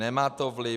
Nemá to vliv.